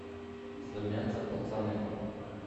слэмятся пацаны